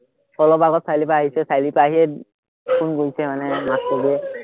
অলপ আগত চাৰিআলিৰপৰা আহিছোহে, চাৰিআলিৰপৰা আহিয়ে ফোন কৰিছে মানে